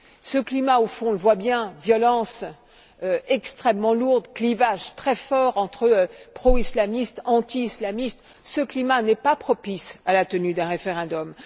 Ce climat au fond, on le voit bien violence extrêmement lourde, clivages très forts entre pro islamistes, anti islamistes ce climat n'est pas propice à la tenue d'un référendum.